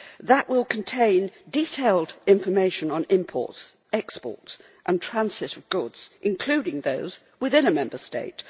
that will contain detailed information on imports, exports and transit of goods, including those within a Member State.